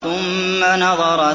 ثُمَّ نَظَرَ